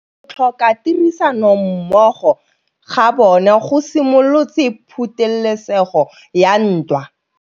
Go tlhoka tirsanommogo ga bone go simolotse patêlêsêgô ya ntwa.